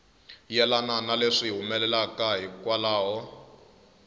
yelana na leswi humelelaka hikwalaho